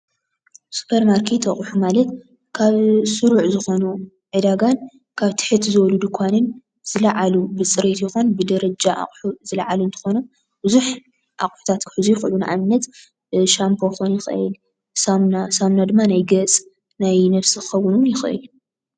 ሱፐርማርኬት ሓቕሑ ማለት ካብ ስሩዕ ዝኾኑ ዕዳጋን ካብ ትሕት ዝበሉ ድንኳንን ዝላዓሉ ብፅሬት ይኹን ብደረጃ ዝላዓሉ እንትኾኑ ብዙሕ ኣቕሑታት ክሕዙ ይኽእሉ፡፡ ንኣብነት ሻምፖ ክኾን ይኽእል ሳሙና ፣ሳሙና ድማ ናይ ገፅ ናይ ነብሲ ክኸውን ውን ይኽእል እዩ፡፡